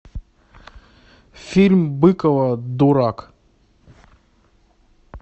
фильм быкова дурак